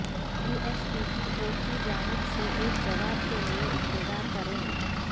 you S P T O کی جانب سے ایک جواب کے لئے انتظار کریں